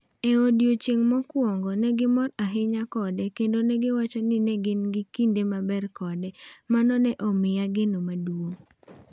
E odiechieng’ mokwongo ne gimor ahinya kode kendo ne giwacho ni ne gin gi kinde maber kode, mano ne omiya geno maduong’.